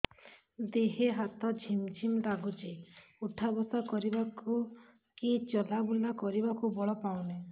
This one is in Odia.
ଦେହେ ହାତ ଝିମ୍ ଝିମ୍ ଲାଗୁଚି ଉଠା ବସା କରିବାକୁ କି ଚଲା ବୁଲା କରିବାକୁ ବଳ ପାଉନି